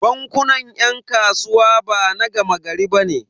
Bankunan 'yan kasuwa bana gama gari bane.